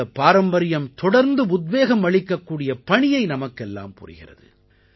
இந்தப் பாரம்பரியம் தொடர்ந்து உத்வேகம் அளிக்கக்கூடிய பணியை நமக்கெல்லாம் புரிகிறது